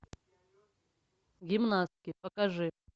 гимнастки покажи